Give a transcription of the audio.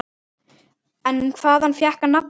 En hvaðan fékk hann nafnið?